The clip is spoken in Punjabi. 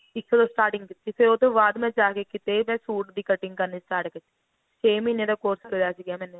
ਇੱਕ starting ਦਿੱਤੀ ਸੀ ਉਹਦੇ ਬਾਅਦ ਜਾ ਕੇ ਕਿਤੇ ਸੂਟ ਦੀ cutting ਕਰਨੀ start ਕੀਤੀ ਛੇ ਮਹੀਨੇ ਦਾ course ਕਰਿਆ ਸੀਗਾ ਮੈਨੇ